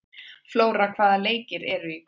Flóra, hvaða leikir eru í kvöld?